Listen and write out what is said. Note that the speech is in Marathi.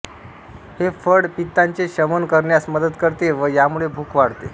हे फळ पित्ताचे शमन करण्यास मदत करते व यामुळे भूक वाढते